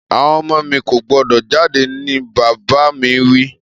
Àwon ọmọ mi ko gbọ́dọ̀ jáde ni bàbà mi wi